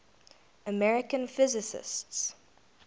american physicists